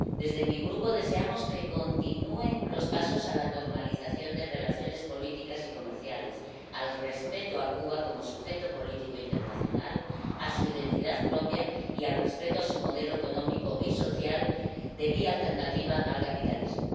Desde mi Grupo deseamos que continúen los pasos hacia la normalización de relaciones políticas y comerciales, el respeto de Cuba como sujeto político internacional, de su identidad propia, y el respeto de su modelo económico y social de vía alternativa al capitalismo.